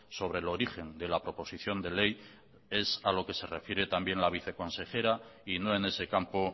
sobre el origen de la proposición de ley es a lo que se refiere también la vice consejera y no en ese campo